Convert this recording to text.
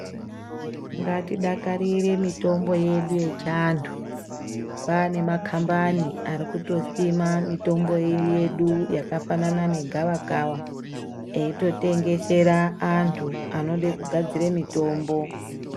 Ngatidakarire mitombo yedu yechiantu. Kwaane makhambani ari kutosima mitombo yedu, yakafanana negavakava eitotengesera antu, anode kugadzire mitombo.